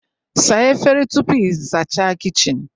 Saa efere tupu ị zachaa kichin